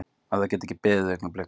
Að það geti ekki beðið augnablik.